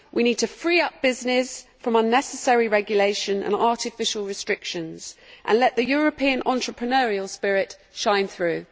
We need to free up business from unnecessary regulation and artificial restrictions, and let the European entrepreneurial spirit shine through.